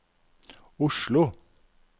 Oslo